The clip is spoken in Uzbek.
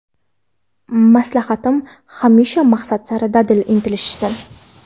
Maslahatim hamisha maqsad sari dadil intilishsin.